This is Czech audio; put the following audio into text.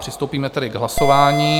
Přistoupíme tedy k hlasování.